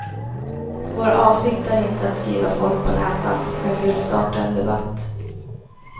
Vår avsikt är inte att skriva folk på näsan, men vi vill starta en debatt.